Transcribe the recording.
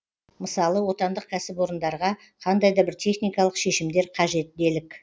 мысалы отандық кәсіпорындарға қандай да бір техникалық шешімдер қажет делік